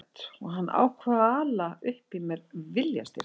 Ég var lofthrædd og hann ákvað að ala upp í mér viljastyrk.